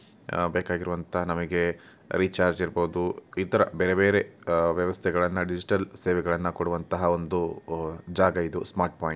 ಬೇಕಾಗಿರುವಂತಹ ನಮಗೆ ರಿಚಾರ್ಜ್ ಇರ್ಬೋದು ಈ ತರ ಬೇರೆ ಬೇರೆ ವ್ಯವಸ್ಥೆಗಳನ್ನ ಡಿಜಿಟಲ್ ವ್ಯವಸ್ಥೆಗಳನ್ನು ಕೊಡುವಂತಹ ಒಂದು ಜಾಗ ಇದು ಸ್ಮಾರ್ಟ್ ಪಾಯಿಂಟ್ .